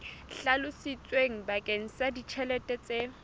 hlalositsweng bakeng sa ditjhelete tse